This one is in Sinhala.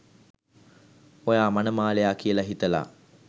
ඔයා මනමාලයා කියලා හිතලා